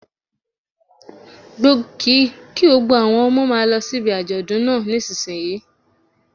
Kí gbogbo àwọn ọmọ ọmọ máa lọ síbi àjọ̀dún náà nísinsìnyí